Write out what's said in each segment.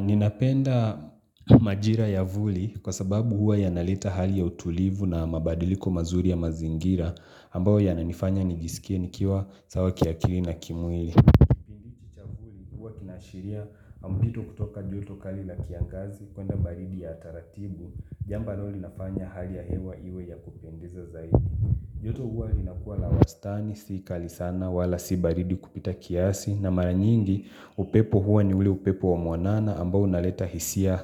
Ninapenda majira ya vuli kwa sababu huwa yanaleta hali ya utulivu na mabadiliko mazuri ya mazingira ambayo yananifanya nijisikie nikiwa sawa kiakili na kimwili Kipindi hichi cha vuli huwa kinaashiria mpito kutoka joto kali la kiangazi kwenda baridi ya taratibu jamba ambalo linafanya hali ya hewa iwe ya kupendeza zaidi joto huwa inakua la wastani, si kali sana, wala si baridi kupita kiasi, na mara nyingi upepo huwa ni ule upepo wa mwanana ambao unaleta hisia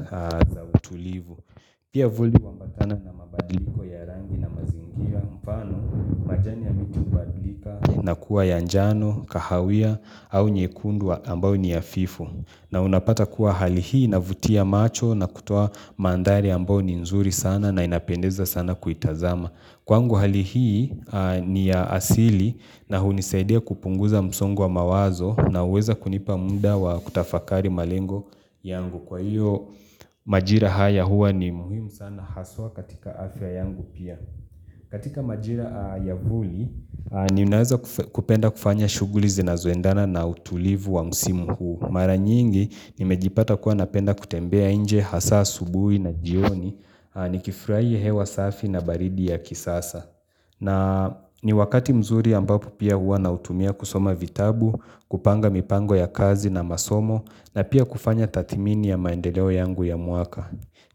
za utulivu. Pia vuli huambatana na mabadiliko ya rangi na mazingi. Mfano, majani ya miti hubadilika na kuwa ya njano, kahawia au nyekundu ambao ni hafifu. Na unapata kuwa hali hii inavutia macho na kutoa mandhari ambayo ni nzuri sana na inapendeza sana kuitazama. Kwangu hali hii ni ya asili na hunisaidia kupunguza msongo mawazo na huweza kunipa muda wa kutafakari malengo yangu Kwa hiyo majira haya huwa ni muhimu sana haswa katika afya yangu pia katika majira ya vuli ninaweza kupenda kufanya shughuli zinazoendana na utulivu wa msimu huu Mara nyingi nimejipata kuwa napenda kutembea nje hasa asubuhi na jioni Nikifurahia hewa safi na baridi ya kisasa na ni wakati mzuri ambapo pia huwa nautumia kusoma vitabu kupanga mipango ya kazi na masomo na pia kufanya tathmini ya maendeleo yangu ya mwaka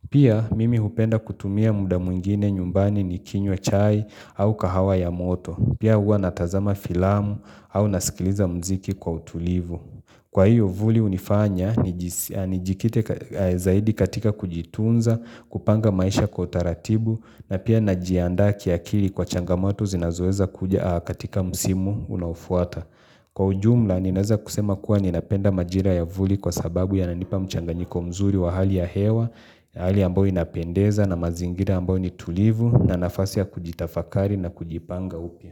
Pia mimi hupenda kutumia muda mwingine nyumbani ni kinywa chai au kahawa ya moto Pia hua natazama filamu au nasikiliza mziki kwa utulivu Kwa hiyo vuli unifanya nijikite zaidi katika kujitunza kupanga maisha kwa utaratibu, na pia najianda kiakili kwa changamoto zinazoeza kuja katika msimu unaofuata. Kwa ujumla, ninaeza kusema kuwa ninapenda majira ya vuli kwa sababu yananipa mchanganyiko mzuri wa hali ya hewa, hali ambayo inapendeza na mazingira ambayo ni tulivu, na nafasi ya kujitafakari na kujipanga upya.